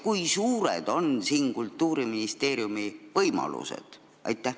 Kui suured on siin Kultuuriministeeriumi võimalused?